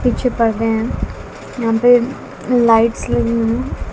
पीछे परदे हैं यहां पे लाइट्स लगे हैं।